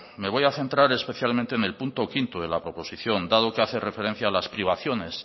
me voy a centrar en el punto quinto de la proposición dado que hace referencia a las privaciones